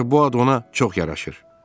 Məncə bu ad ona çox yaraşır.